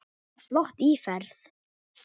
Flott íferð.